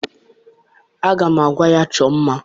Aga m agwa ya chọọ mma